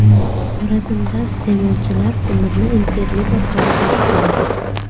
Xorazmda iste’molchilar ko‘mirni internet orqali sotib oladi.